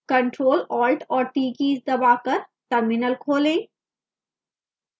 ctrl alt और t keys दबाकर terminal खोलें